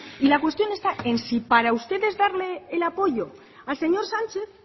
y la cuestión está en si para ustedes darle el apoyo al señor sánchez